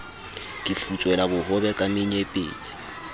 ke futswela bohobe ka menyepetsi